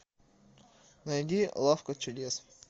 найди лавка чудес